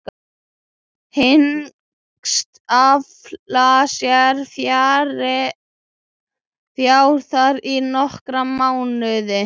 Hyggst afla sér fjár þar í nokkra mánuði.